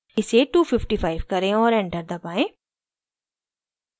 इसे 255 करें और enter दबाएं